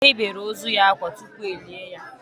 E yibere ozu ya akwa tupu e lié ya